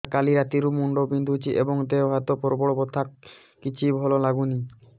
ସାର କାଲି ରାତିଠୁ ମୁଣ୍ଡ ବିନ୍ଧୁଛି ଏବଂ ଦେହ ହାତ ପ୍ରବଳ ବଥା କିଛି ଭଲ ଲାଗୁନି